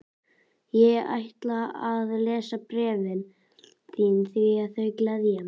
Ég ætla að lesa bréfin þín því þau gleðja mig.